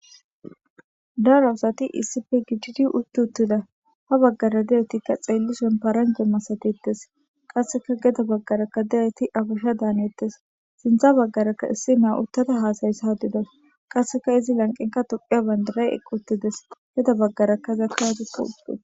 Daroasati iisipe giididi uttuttida ha baggara deetikka xeellison paranje masatittes qasseka geda baggaraka deeti abasha daanettes, sinthza baggarakka issi na uttata haasayssahdides qasseka izi lanqeraka tuphiya bandiray eqqutides geda baggarakka zakkatikka udides.